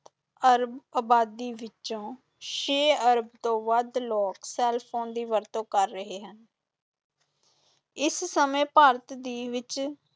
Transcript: ਅਰਬ ਅਬਾਦੀ ਵਿਚੋਂ ਛੇ ਅਰਬ ਤੋਂ ਵੱਧ ਲੋਕ ਸੈੱਲਫੋਨ ਦੀ ਵਰਤੋਂ ਕਰ ਰਹੇ ਹਨ ਇਸ ਸਮੇਂ ਭਾਰਤ ਦੇ ਵਿੱਚ